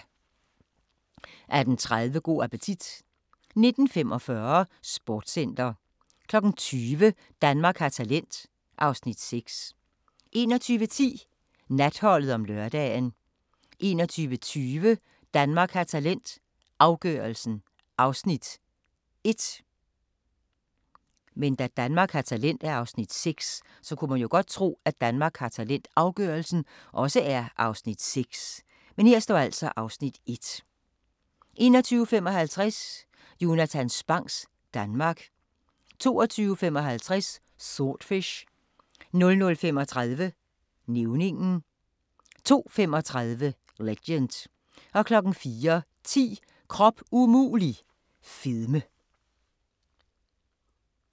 18:30: Go' appetit 19:45: Sportscenter 20:00: Danmark har talent (Afs. 6) 21:10: Natholdet om lørdagen 21:20: Danmark har talent – afgørelsen (Afs. 1) 21:55: Jonatan Spangs Danmark 22:55: Swordfish 00:35: Nævningen 02:35: Legend 04:10: Krop umulig – fedme